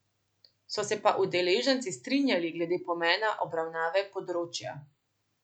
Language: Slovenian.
So se pa udeleženci strinjali glede pomena obravnave področja.